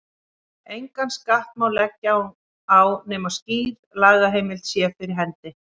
Engan skatt má leggja á nema skýr lagaheimild sé fyrir hendi.